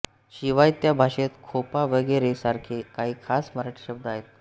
शिवाय त्या भाषेत खोपा वगैरे सारखे काही खास मराठी शब्द आहेत